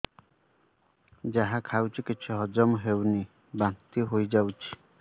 ଯାହା ଖାଉଛି କିଛି ହଜମ ହେଉନି ବାନ୍ତି ହୋଇଯାଉଛି